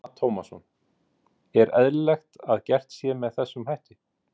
Telma Tómasson: Er eðlilegt að gert sé með þessum hætti?